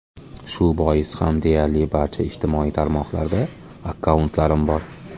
Shu bois ham deyarli barcha ijtimoiy tarmoqlarda akkauntlarim bor.